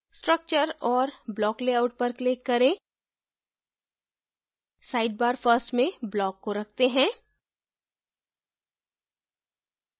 structure और block layout पर click करें sidebar first में block को रखते हैं